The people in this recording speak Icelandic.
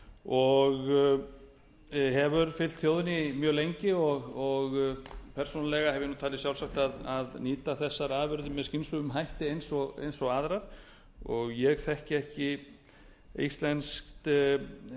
og hefur fylgt þjóðinni mjög lengi persónulega hef ég nú talið sjálfsagt að nýta þessar afurðir með skynsömum hætti eins og aðrar og ég þekki ekki hvalveiðar á íslandi